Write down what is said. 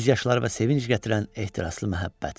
Göz yaşları və sevinc gətirən ehtiraslı məhəbbət.